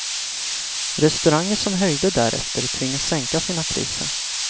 Restauranger som höjde därefter tvingas sänka sina priser.